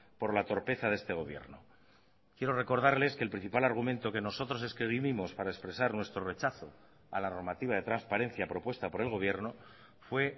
por la torpeza de este gobierno quiero recordarles que el principal argumento que nosotros es que vinimos para expresar nuestro rechazo a la normativa de transparencia propuesta por el gobierno fue